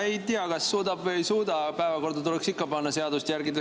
Ei tea, kas suudab või ei suuda, aga päevakorda tuleks ikka panna, seadust järgida.